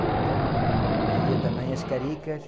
Então havia também as caricas.